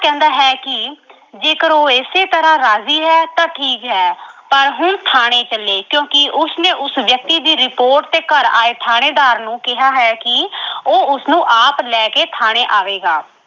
ਕਹਿੰਦਾ ਹੈ ਕਿ ਜੇਕਰ ਉਹ ਇਸੇ ਤਰ੍ਹਾਂ ਰਾਜ਼ੀ ਹੈ ਤਾਂ ਠੀਕ ਹੈ ਪਰ ਹੁਣ ਥਾਣੇ ਚੱਲੇ ਕਿਉਂਕਿ ਉਸਨੇ ਉਸ ਵਿਅਕਤੀ ਦੀ report ਤੇ ਘਰ ਆਏ ਥਾਣੇਦਾਰ ਨੂੰ ਕਿਹਾ ਹੈ ਕਿ ਉਹ ਉਸਨੂੰ ਆਪ ਲੈ ਕੇ ਥਾਣੇ ਆਵੇਗਾ।